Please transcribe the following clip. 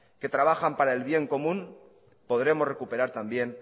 que trabajan para el bien común podremos recuperar también